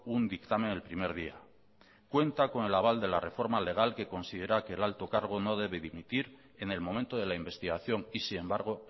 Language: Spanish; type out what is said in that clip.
un dictamen el primer día cuenta con el aval de la reforma legal que considera que el alto cargo no debe dimitir en el momento de la investigación y sin embargo